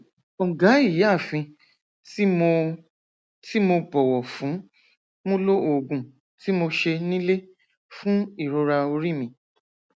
ọgá ìyáàfin tí mo tí mo bọwọ fún mo lo oògùn tí mo ṣe nílé fún ìrora orí mi